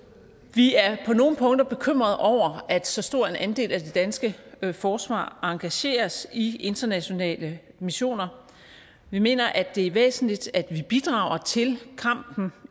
vi er på nogle punkter bekymrede over at så stor en andel af det danske forsvar engageres i internationale missioner vi mener at det er væsentligt at vi bidrager til kampen